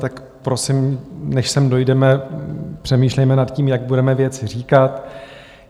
Tak prosím, než sem dojdeme, přemýšlejme nad tím, jak budeme věci říkat.